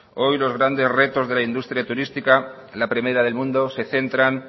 hoy los grandes retos de la industria turística la primera del mundo se centran